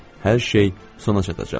Hər şey sona çatacaq.